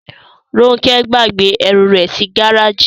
Róńkẹ́ gbàgbé ẹrù rẹ̀ sí gáràjì.